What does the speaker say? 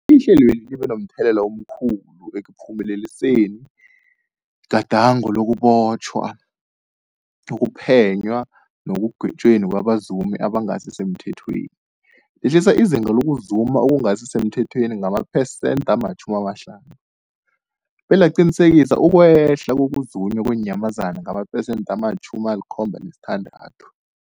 Ihlelweli libe momthelela omkhulu ekuphumeleliseni igadango lokubotjhwa, ukuphenywa nekugwetjweni kwabazumi abangasisemthethweni, lehlisa izinga lokuzuma okungasi semthethweni ngamaphesenthe-50, belaqinisekisa ukwehla kokuzunywa kweenyamazana ngamaphesenthe-76.